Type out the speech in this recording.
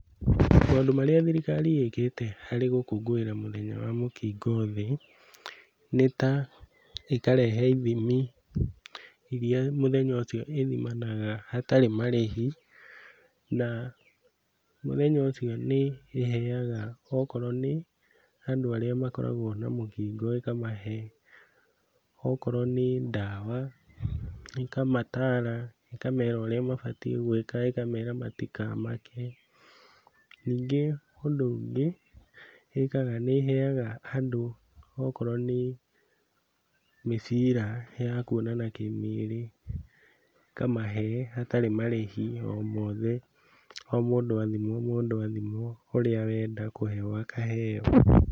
Maũndũ marĩa thirikari ĩkĩte harĩ gũkũngũĩra mũthenya wa mũkingo thĩ nĩ ta, ĩkarehe ithimi iria mũthenya ũcio ĩthimanaga hatarĩ marĩhi na mũthenya ũcio nĩĩheaga okorwo nĩ andũ arĩa makoragwo na mũkingo ĩkamahe, okorwo nĩ ndawa, ĩkamataara, ĩkamera ũrĩa mabatiĩ gwĩka ĩkamera matikamake. Ningĩ ũndũ ũngĩ ĩkaga, nĩĩheaga andũ okorwo nĩ mĩbira ya kuonana kĩmĩrĩ, ĩkamahe hatarĩ marĩhi o mothe, o mũndũ athimwo mũndũ athimwo ũrĩa wenda kũheo akaheo.